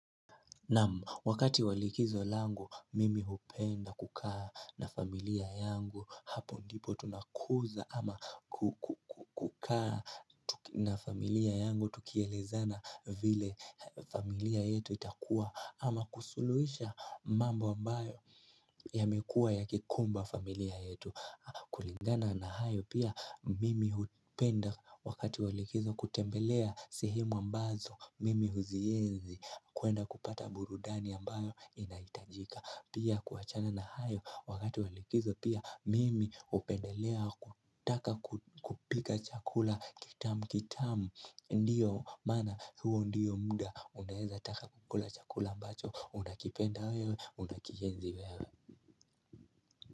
Naam wakati wa likizo langu mimi hupenda kukaa na familia yangu hapo ndipo tunakuuza ama kukaa na familia yangu tukielezana vile familia yetu itakua ama kusuluhisha mambo ambayo yamekua ya kikumba familia yetu kulingana na hayo pia mimi hupenda wakati walikizo kutembelea sehemu ambazo mimi huzienzi kwenda kupata burudani ambayo inahitajika Pia kuachana na hayo wakati walikizo pia Mimi hupendelea kutaka kupika chakula kitamu kitamu Ndiyo maana huo ndiyo muda Unaweza taka kukula chakula ambacho Unakipenda wewe unakienzi wewe.